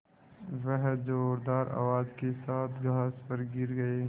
वह ज़ोरदार आवाज़ के साथ घास पर गिर गई